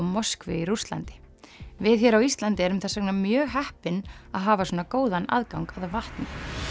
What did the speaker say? Moskvu í Rússlandi við hér á Íslandi erum þess vegna mjög heppin að hafa svona góðan aðgang að vatni